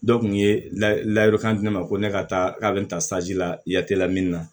Dɔ kun ye layiru kandi ne ma ko ne ka taa k'a be ta la la min na na